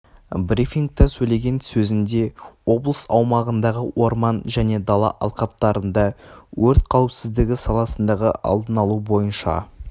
брифингта сөйлеген сөзінде облыс аумағындағы орман және дала алқаптарында өрт қауіпсіздігі саласындағы алдын алу бойынша